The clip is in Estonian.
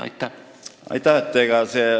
Aitäh!